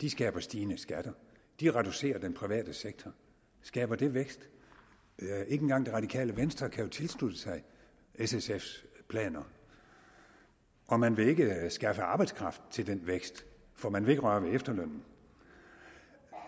de skaber stigende skatter de reducerer den private sektor skaber det vækst ikke engang det radikale venstre kan jo tilslutte sig s sf’s planer og man vil ikke skaffe arbejdskraft til den vækst for man vil ikke røre ved efterlønnen